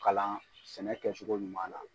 Kalan sɛnɛ kɛcogo ɲuman na.